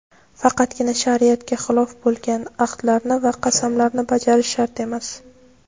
Faqatgina shariatga xilof bo‘lgan ahdlarni va qasamlarni bajarish shart emas.